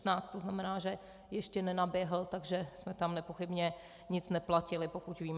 To znamená, že ještě nenaběhl, takže jsme tam nepochybně nic neplatili, pokud vím.